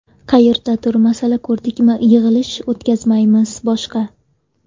Qayerdadir masala ko‘rdikmi, yig‘ilish o‘tkazmaymiz boshqa.